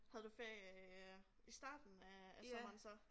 Havde du ferie øh i starten af af sommeren så